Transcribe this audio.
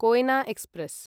Koyna express